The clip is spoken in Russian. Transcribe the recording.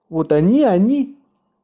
вот они они